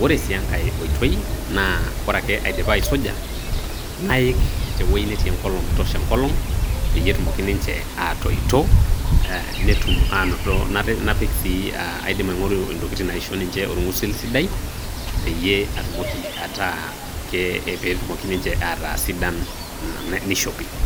ore sii enkae oitoi naa ore ake aidipa aisuja, naaik te wueji netii enkolong metosho enkolong, peyie etumoki ninche aatoito, netum aanoto, napik sii aidim aing'oru intokitin naaisho ninche orng'usil sidai, peyie atumoki ataa, pee eki ninche ataa sidan nishopi.